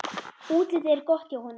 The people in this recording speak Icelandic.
Útlitið er gott hjá honum.